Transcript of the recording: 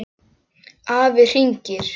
Afi hringir